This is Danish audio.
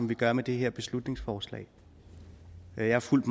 vi gør med det her beslutningsforslag jeg har fulgt